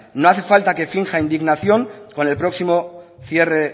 no hace falta que finja indignación con el próximo cierre